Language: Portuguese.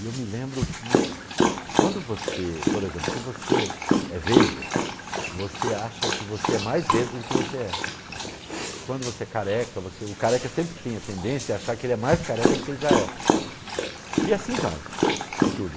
E eu me lembro que quando você, por exemplo, se você é vesga, você acha que você é mais vesga do que você é. Quando você é careca, o careca sempre tem a tendência a achar que ele é mais careca do que ele já é. E assim vai em tudo.